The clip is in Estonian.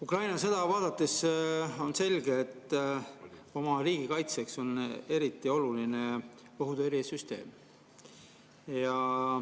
Ukraina sõda vaadates on selge, et oma riigi kaitseks on eriti oluline õhutõrjesüsteem.